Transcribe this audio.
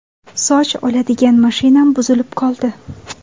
Soch oladigan mashinam buzilib qoldi”.